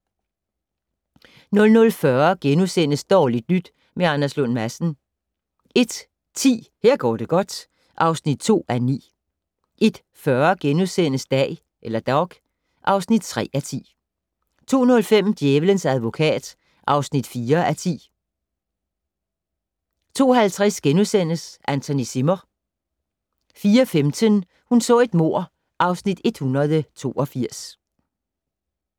00:40: Dårligt nyt med Anders Lund Madsen * 01:10: Her går det godt (2:9) 01:40: Dag (3:10)* 02:05: Djævelens advokat (4:10) 02:50: Anthony Zimmer * 04:15: Hun så et mord (Afs. 182)